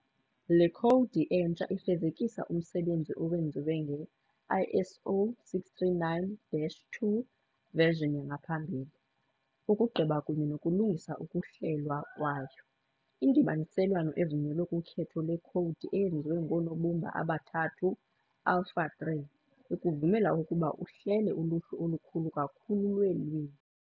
Le khowudi entsha ifezekisa umsebenzi owenziwe nge-ISO 639-2 version yangaphambili, ukugqiba kunye nokulungisa ukuhlelwa kwayo. Indibaniselwano evunyelwe kukhetho lwekhowudi eyenziwe ngoonobumba aba-3, "alpha-3", ikuvumela ukuba uhlele uluhlu olukhulu kakhulu lweelwimi.